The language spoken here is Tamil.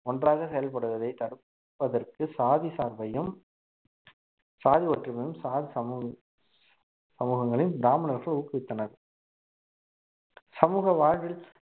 ஒன்றாக செயல்படுவதை தடுப்பதற்கு சாதி சார்பையும் சாதி ஒற்றுமையும் சாதி சமூக~ சமூகங்களையும் பிராமணர்கள் ஊக்குவித்தனர் சமூக வாழ்வில்